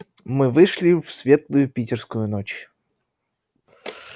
мы вышли в светлую питерскую ночь